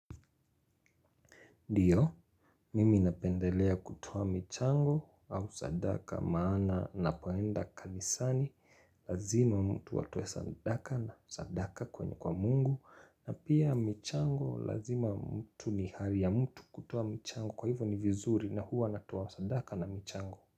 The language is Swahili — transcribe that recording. Ndiyo, mimi napendelea kutowa michango au sadaka maana napoenda kanisani. Lazima mtu watowe sadaka na sadaka kwenye kwa mungu. Na pia michango, lazima mtu ni hali ya mtu kutowa michango kwa hivyo ni vizuri na huwa natowa sadaka na michango.